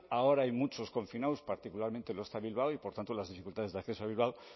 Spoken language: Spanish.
ahora hay muchos confinados particularmente lo está bilbao y por tanto las dificultades de acceso a bilbao